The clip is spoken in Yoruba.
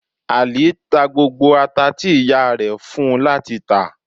Ali ta gbógbó atá ti iyá rẹ fún u lati tà.